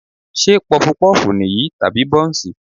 Ṣé Pọfupọ́ọ̀fù nìyí tàbí Bọ́ǹsì?